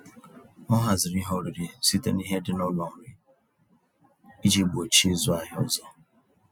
Ọ haziri ihe oriri site n'ihe dị n'ụlọ nri, iji gbochie ịzụ ahịa ọzọ.